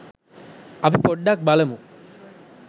අපි පොඩ්ඩක් බලමු